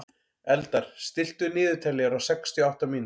Eldar, stilltu niðurteljara á sextíu og átta mínútur.